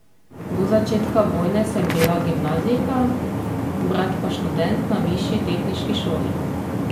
Do začetka vojne sem bila gimnazijka, brat pa študent na višji tehniški šoli.